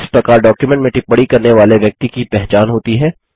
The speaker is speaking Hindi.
इस प्रकार डॉक्युमेंट में टिप्पणी करने वाले व्यक्ति की पहचान होती है